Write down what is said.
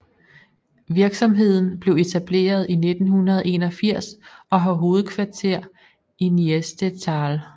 Virksomheden blev etableret i 1981 og har hovedkvarter i Niestetal